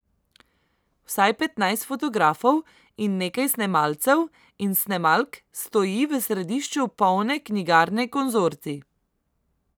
Vsaj petnajst fotografov in nekaj snemalcev in snemalk stoji v središču polne knjigarne Konzorcij.